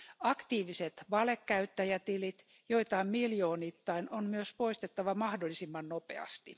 Aktiiviset valekäyttäjätilit, joita on miljoonittain, on myös poistettava mahdollisimman nopeasti.